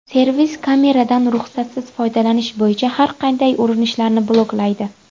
Servis kameradan ruxsatsiz foydalanish bo‘yicha har qanday urinishlarni bloklaydi.